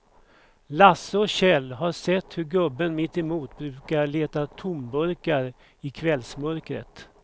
Lasse och Kjell har sett hur gubben mittemot brukar leta tomburkar i kvällsmörkret.